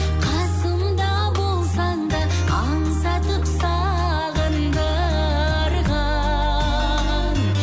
қасымда болсаң да аңсатып сағындырған